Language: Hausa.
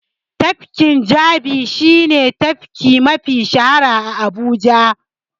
Tafkin Jabi shi ne tafki mafi shahara a Abuja.